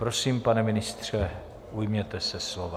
Prosím, pane ministře, ujměte se slova.